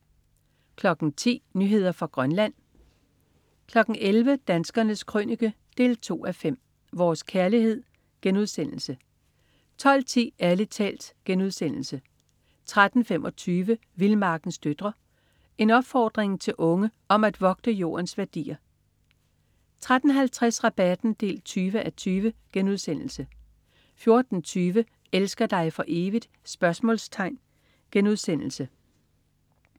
10.00 Nyheder fra Grønland 11.00 Danskernes Krønike 2:5. Vores kærlighed* 12.10 Ærlig talt* 13.25 Vildmarkens døtre. En opfordring til unge om at vogte Jordens værdier 13.50 Rabatten 20:20* 14.20 Elsker dig for evigt?*